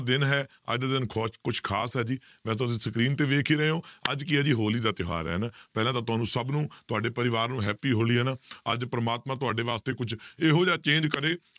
ਦਿਨ ਹੈ ਅੱਜ ਦਾ ਕੁਛ ਖ਼ਾਸ ਹੈ ਜੀ screen ਤੇ ਵੇਖ ਹੀ ਰਹੇ ਹੋ ਅੱਜ ਕੀ ਹੈ ਜੀ ਹੋਲੀ ਦਾ ਤਿਉਹਾਰ ਹੈ ਨਾ, ਪਹਿਲਾਂ ਤਾਂ ਤੁਹਾਨੂੰ ਸਭ ਨੂੰ ਤੁਹਾਡੇ ਪਰਿਵਾਰ ਨੂੰ happy ਹੋਲੀ ਹੈ ਨਾ ਅੱਜ ਪਰਮਾਤਮਾ ਤੁਹਾਡੇ ਵਾਸਤੇ ਕੁੱਝ ਇਹੋ ਜਿਹਾ change ਕਰੇ